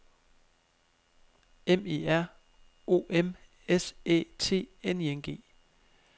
M E R O M S Æ T N I N G